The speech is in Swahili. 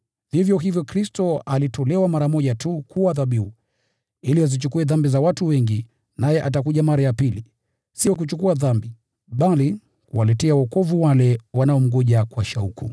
vivyo hivyo Kristo alitolewa mara moja tu kuwa dhabihu ili azichukue dhambi za watu wengi. Naye atakuja mara ya pili, sio kuchukua dhambi, bali kuwaletea wokovu wale wanaomngoja kwa shauku.